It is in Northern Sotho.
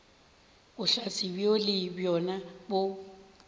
bohlatse bjoo le bjona bo